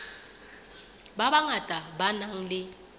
ba bangata ba nang le